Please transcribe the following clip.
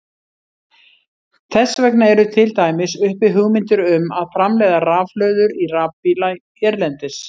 Þess vegna eru til dæmis uppi hugmyndir um að framleiða rafhlöður í rafbíla hérlendis.